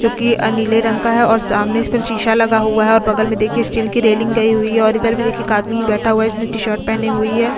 जो कि अ नीले रंग का है और सामने इस पर शीशा लगा हुआ है और बगल में देखिए स्टील की रेलिंग गई हुई है और इधर भी देखिए एक आदमी बैठा हुआ है इसने टी-शर्ट पहनी हुई है।